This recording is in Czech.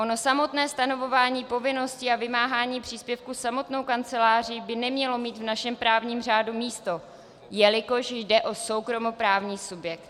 Ono samotné stanovování povinnosti a vymáhání příspěvku samotnou kanceláří by nemělo mít v našem právním řádu místo, jelikož jde o soukromoprávní subjekt.